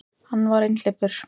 Hann var einhleypur.